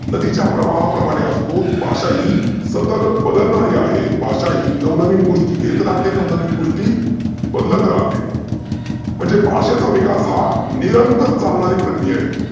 नदीच्या प्रवाहाप्रमाने असतो भाषा ही सतत बदलणारी आहे भाषा ही नव नविन घेत राहते नवनवीन गोष्टी बदलत राहते. म्हणजे भाषेचा विकास हा निरंतर चालनारी प्रक्रिया आहे.